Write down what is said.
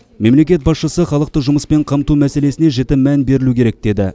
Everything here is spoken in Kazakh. мемлекет басшысы халықты жұмыспен қамту мәселесіне жіті мән берілу керек деді